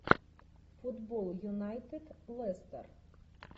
футбол юнайтед лестер